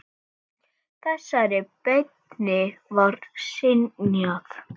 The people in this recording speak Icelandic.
Þessari beiðni var synjað.